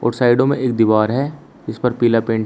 और साइडों में एक दीवार है इस पर पीला पेंट है।